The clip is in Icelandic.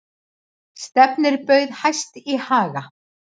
Stefnir bauð hæst í Haga